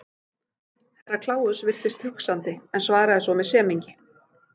Herra Kláus virtist hugsandi en svaraði svo með semingi.